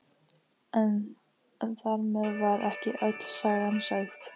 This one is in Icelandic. En þar með var ekki öll sagan sögð.